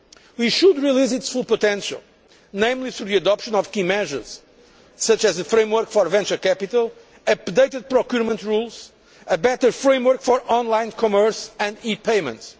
We should release its full potential, namely through the adoption of key measures such as the framework for venture capital, updated procurement rules and a better framework for online commerce and e payments.